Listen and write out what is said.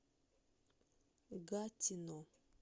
гатино